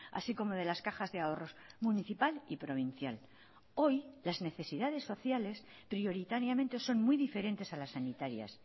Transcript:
así como de las cajas de ahorros municipal y provincial hoy las necesidades sociales prioritariamente son muy diferentes a las sanitarias